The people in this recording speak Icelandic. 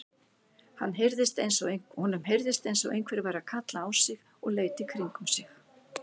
Honum heyrðist eins og einhver væri að kalla á sig og leit í kringum sig.